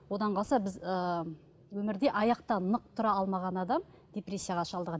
одан қалса біз ы өмірде аяқта нық тұра алмаған адам депрессияға шалдығады